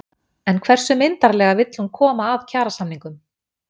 En hversu myndarlega vill hún koma að kjarasamningum?